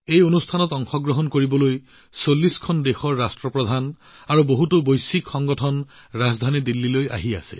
এই অনুষ্ঠানত অংশগ্ৰহণৰ বাবে ৰাজধানী দিল্লীলৈ ৪০খন দেশৰ মুৰব্বী আৰু বহুতো বিশ্ব সংস্থাৰ মুৰব্বী আহিব